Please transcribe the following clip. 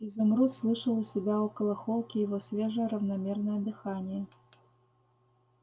изумруд слышал у себя около холки его свежее равномерное дыхание